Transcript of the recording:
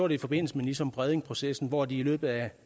i forbindelse med nissum bredning processen hvor de i løbet af